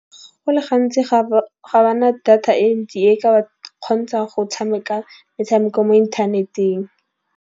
Go le gantsi ga bana data e ntsi e ka ba kgontsha go tshameka metshameko mo inthaneteng.